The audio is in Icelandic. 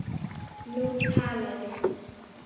Nú talaði